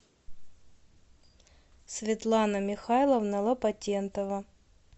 светлана михайловна лопатенкова